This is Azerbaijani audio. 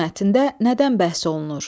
Bu mətndə nədən bəhs olunur?